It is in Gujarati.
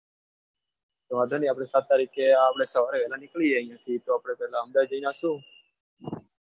તો વાંધો નહિ આપણી સાત તારીખે સવારે વહેલા નીકળી જઈએ અહીંયા થી તો પહેલા અંબાજી જઈને નાખીશું.